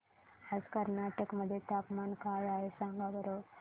आज कर्नाटक मध्ये तापमान काय आहे सांगा बरं